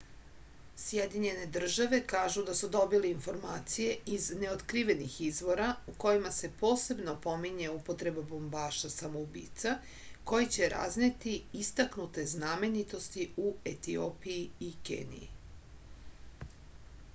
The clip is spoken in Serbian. sjedinjene države kažu da su dobile informacije iz neotkrivenih izvora u kojima se posebno pominje upotreba bombaša samoubica koji će razneti istaknute znamenitosti u etiopiji i keniji